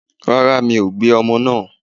Rárá, mi ò gbé ọmọ náà.